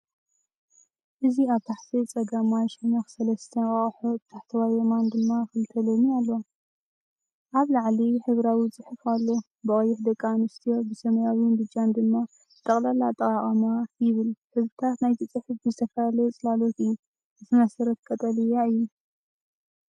እዚ ኣብ ታሕቲ ጸጋማይ ሸነኽ ሰለስተ እንቋቑሖ፡ ብታሕተዋይ የማን ድማ ክልተ ለሚን ኣለዋ። ኣብ ላዕሊ ሕብራዊ ጽሑፍ ኣሎ፤ ብቀይሕ “ደቂ ኣንስትዮ!!!”ብሰማያውን ብጫን ድማ “ንጠቕላላ ኣጠቓቕማ ”ይብል ሕብርታት ናይቲ ጽሑፍ ብዝተፈላለየ ጽላሎት እዩ። እቲ መሰረት ቀጠልያ እዩ።